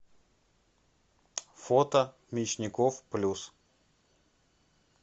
фото мечников плюс